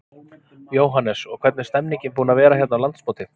Jóhannes: Og hvernig er stemmningin búin að vera hérna á landsmóti?